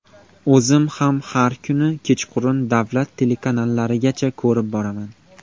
O‘zim ham har kuni kechqurun davlat telekanallarigacha ko‘rib boraman.